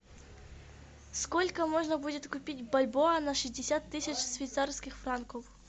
сколько можно будет купить бальбоа на шестьдесят тысяч швейцарских франков